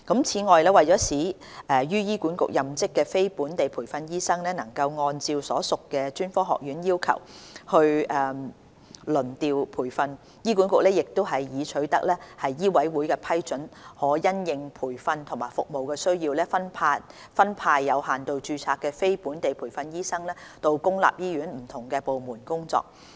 此外，為使於醫管局任職的非本地培訓醫生能按照所屬專科學院的要求輪調培訓，醫管局亦已取得醫委會批准，可因應培訓及服務需要分派有限度註冊的非本地培訓醫生到公立醫院的不同部門工作。